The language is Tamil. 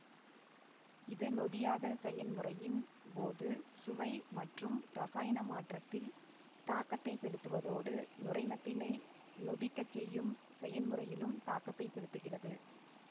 இது நொதியாதல் செயன்முறையின் போது சுவை மற்றும் இரசாயன மாற்றத்தில் தாக்கத்தை செலுத்துவதோடு நுரைமத்தினை நொதிக்கச் செய்யும் செயன்முறையிலும் தாக்கத்தை செலுத்துகிறது